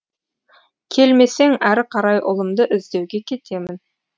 келмесең әрі қарай ұлымды іздеуге кетемін